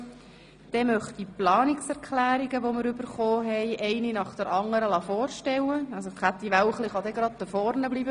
Dann möchte ich die Planungserklärungen vorstellen lassen, Grossrätin Wälchli kann dafür gleich am Rednerpult bleiben.